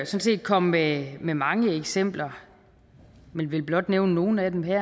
set komme med med mange eksempler men vil blot nævne nogle af dem her